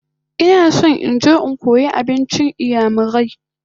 I want to go and learn igbo food